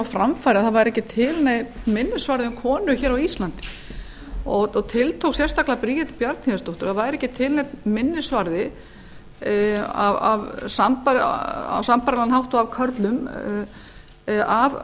að það væri ekki til neinn minnisvarði um konu á íslandi og tiltók sérstaklega bríeti bjarnhéðinsdóttur það væri ekki til neinn minnisvarði á sambærilegan hátt og af